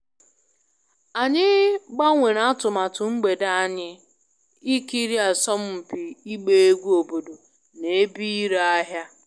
Anyị gbanwere atụmatụ mgbede anyị ikiri asọmpi ịgba egwú obodo na ebe ire ahia